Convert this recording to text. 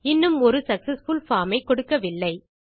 இன்னும் ஒரு successful form ஐ கொடுக்கவில்லை